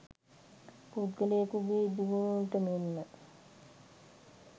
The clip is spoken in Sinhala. පුද්ගලයෙකුගේ දියුණුවට මෙන්ම